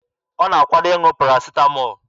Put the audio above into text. Ọ na-akwado ịṅụ parasịtamọọl.